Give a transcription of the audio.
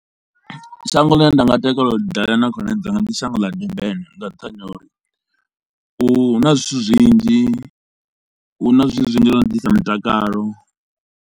Shango ḽine nda nga takalela u dalela na khonani dzanga ndi shango ḽa Durban nga nṱhani ha uri hu na zwithu zwinzhi, hu na zwithu zwinzhi zwo no ḓisa mutakalo.